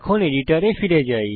এডিটরে ফিরে যাই